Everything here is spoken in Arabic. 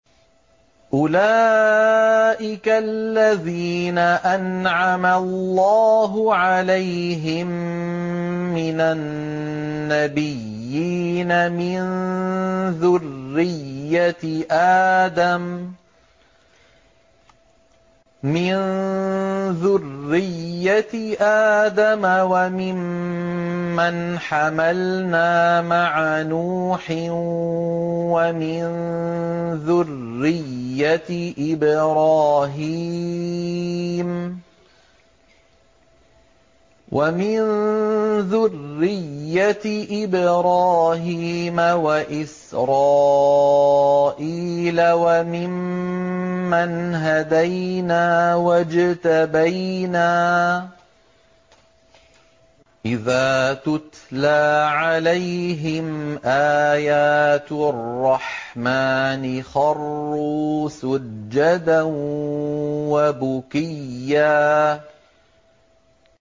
أُولَٰئِكَ الَّذِينَ أَنْعَمَ اللَّهُ عَلَيْهِم مِّنَ النَّبِيِّينَ مِن ذُرِّيَّةِ آدَمَ وَمِمَّنْ حَمَلْنَا مَعَ نُوحٍ وَمِن ذُرِّيَّةِ إِبْرَاهِيمَ وَإِسْرَائِيلَ وَمِمَّنْ هَدَيْنَا وَاجْتَبَيْنَا ۚ إِذَا تُتْلَىٰ عَلَيْهِمْ آيَاتُ الرَّحْمَٰنِ خَرُّوا سُجَّدًا وَبُكِيًّا ۩